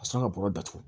A sanga bɔgɔ datugu